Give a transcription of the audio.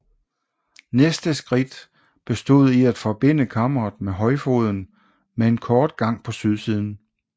Næste skridt bestod i at forbinde kammeret med højfoden med en kort gang på sydsiden